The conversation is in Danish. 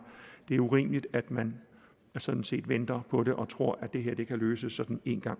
det er urimeligt at man sådan set venter på det og tror at det her kan løses sådan en gang